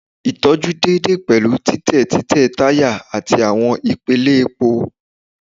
Itọju deede pẹlu titẹ titẹ taya ati awọn ipele epo